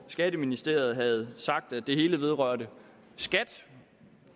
skatteministeriet havde sagt at det hele vedrørte skat